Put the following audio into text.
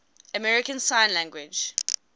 american sign language